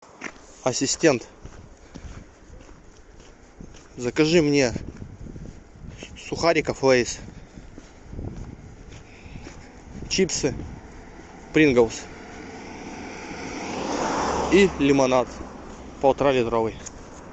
ассистент закажи мне сухариков лейс чипсы принглс и лимонад полтора литровый